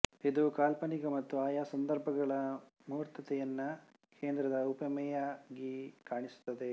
ಇದು ಕಾಲ್ಪನಿಕ ಮತ್ತು ಆಯಾ ಸಂದರ್ಭಗಳ ಮೂರ್ತತೆಯನ್ನು ಕೇಂದ್ರದ ಉಪಮೆಯಾಗಿ ಕಾಣಿಸುತ್ತದೆ